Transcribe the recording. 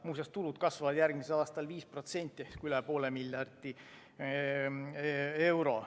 Muuseas, tulud kasvavad järgmisel aastal 5% ehk üle poole miljardi euro.